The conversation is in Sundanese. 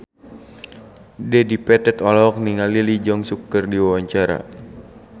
Dedi Petet olohok ningali Lee Jeong Suk keur diwawancara